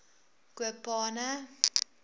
kopane